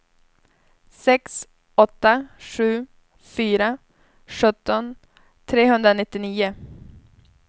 sex åtta sju fyra sjutton trehundranittionio